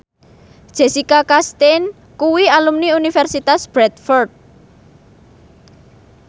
Jessica Chastain kuwi alumni Universitas Bradford